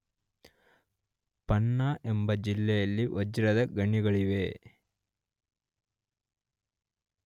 ಪನ್ನಾ ಎಂಬ ಜಿಲ್ಲೆಯಲ್ಲಿ ವಜ್ರದ ಗಣಿಗಳಿವೆ.